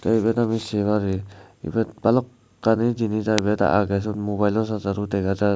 te ibet ami se pari ibet balukkani jinich ibet agey siyot mobailo chargero dega jar.